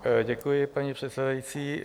Děkuji, paní předsedající.